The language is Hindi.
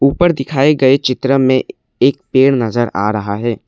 ऊपर दिखाए गए चित्र में एक पेड़ नजर आ रहा है।